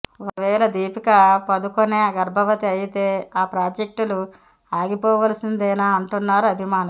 ఒకవేళ దీపికా పదుకొణె గర్భవతి అయితే ఆ ప్రాజెక్టులు ఆగిపోవాల్సిందేనా అంటున్నారు అభిమానులు